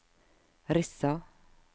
Rissa